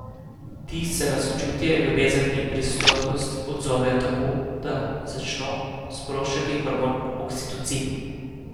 Ti se na sočutje, ljubezen in prisotnost odzovejo tako, da začno sproščati hormon oksitocin.